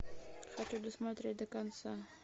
хочу досмотреть до конца